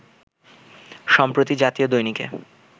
সম্প্রতি জাতীয় দৈনিকে